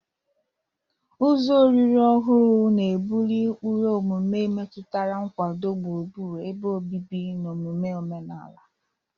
Ụzọ olili ọhụrụ na-ebuli ụkpụrụ omume metụtara nkwado gburugburu ebe obibi na omume omenala.